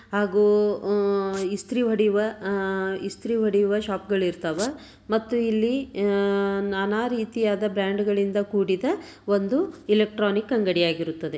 ಹಾಗೂ ಉಹ್ ಇಸ್ತ್ರಿ ಹೊಡೆಯುವ ಆಹ್ ಶಾಪಗಳು ಇರ್ತವ ಮತ್ತು ಇಲ್ಲಿ ನಾನಾ ರೀತಿಯಾದ ಬ್ರಾಂಡ್ ಗಳಿಂದ ಕೂಡಿದ ಒಂದು ಎಲೆಕ್ಟ್ರಾನಿಕ್ ಅಂಗಡಿಯಾಗಿರುತ್ತದೆ.